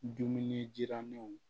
Dumuni jiramanw